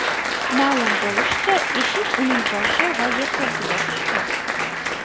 Ma’lum bo‘lishicha, eshik uning boshi va yelkasiga tushgan.